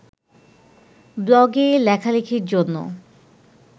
ব্লগে লেখালেখির জন্য